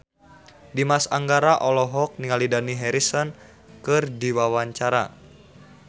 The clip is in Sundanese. Dimas Anggara olohok ningali Dani Harrison keur diwawancara